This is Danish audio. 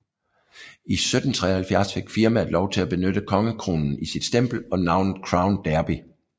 I 1773 fik firmaet lov til at benytte kongekronen i sit stempel og navnet Crown Derby